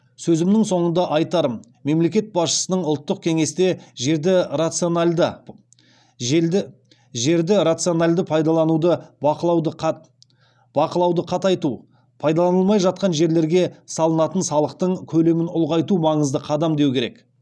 сөзімнің соңында айтарым мемлекет басшысының ұлттық кеңесте жерді рациональды пайдалануды бақылауды қатайту пайдаланылмай жатқан жерлерге салынатың салықтың көлемін ұлғайту маңызды қадам деу керек